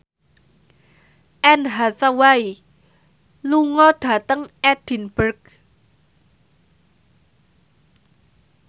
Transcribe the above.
Anne Hathaway lunga dhateng Edinburgh